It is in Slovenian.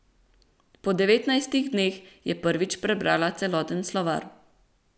Po devetnajstih dneh je prvič prebrala celoten slovar.